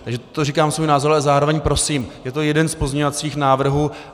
Takže to říkám svůj názor, ale zároveň prosím, je to jeden z pozměňovacích návrhů.